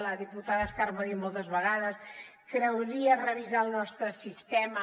la diputada d’esquerra ho va dir moltes vegades caldria revisar el nostre sistema